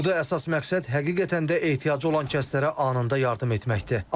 Burda əsas məqsəd həqiqətən də ehtiyacı olan kəslərə anında yardım etməkdir.